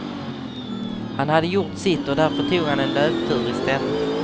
Han hade gjort sitt och därför tog han en löptur i stället.